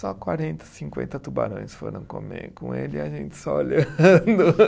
Só quarenta, cinquenta tubarões foram comer com ele e a gente só olhando.